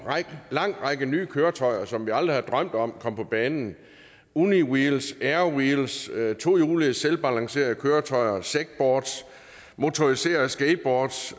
en lang række nye køretøjer som vi aldrig havde drømt om kom på banen uniwheels airwheels tohjulede selvbalancerende køretøjer segboards motoriserede skateboards